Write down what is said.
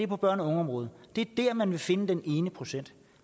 på børne og ungeområdet det er der man vil finde den ene procent